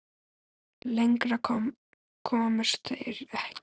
Lengra komust þeir ekki.